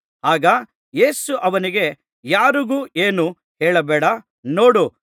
ಆಗ ಯೇಸು ಅವನಿಗೆ ಯಾರಿಗೂ ಏನೂ ಹೇಳಬೇಡ ನೋಡು